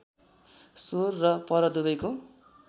स्व र पर दुवैको